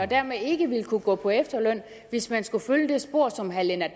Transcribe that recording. dermed ikke vil kunne gå på efterløn hvis man skulle følge det spor som herre lennart